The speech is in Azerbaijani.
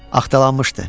Axtalanmışdı.